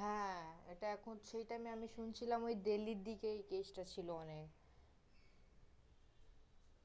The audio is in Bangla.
হ্যাঁ, এইটা এখন, সেই time এ আমি শুনছিলাম ওই দিল্লির দিকেই case টা ছিল অনেক